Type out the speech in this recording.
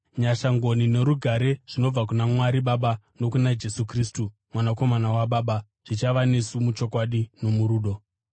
Nyasha, ngoni norugare zvinobva kuna Mwari Baba nokuna Jesu Kristu, Mwanakomana waBaba, zvichava nesu muchokwadi nomurudo.